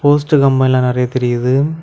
Post கம்பல்லாம் நறைய தெரியுது.